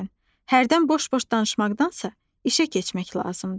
Hərdən boş-boş danışmaqdansa, işə keçmək lazımdır.